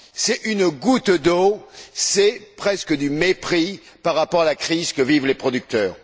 C'est une goutte d'eau, c'est presque du mépris par rapport à la crise que vivent les producteurs.